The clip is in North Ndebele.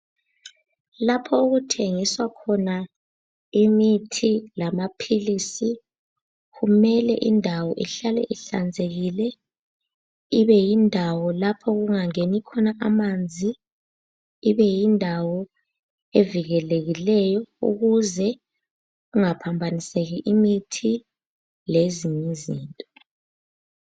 Lapho okuthengiswa khona imithi lamaphilisi kumele indawo ihlale ihlanzekile, ibe yindawo lapho okunga ngeni khona amanzi, ibe yindawo evikelekileyo ukuze kungaphambaniseki imithi lezinyizinto.